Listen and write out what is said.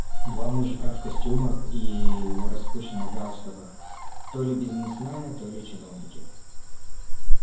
два мужика в костюмах и в распущенных галстуках то ли бизнесмены то ли чиновники